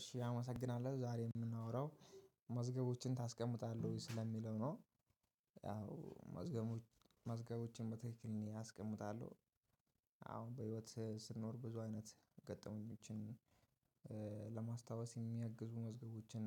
እሺ አመሰግናለሁ ዛሬ የምናወራው መዝገቦችን ታስቀምጣለህ ወይ? ስለሚለው ነው ያው መዝገቦች መዝገቦችን በትክክል እኔ አስቀምጣለሁ። አሁን በህይወት ስንኖር ብዙ አይነት ገጠመኞችን ለማስታወስ የሚያግዙ መዝገቦችን